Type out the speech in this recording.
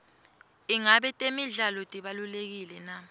ingabe temidlalo tibalulekile na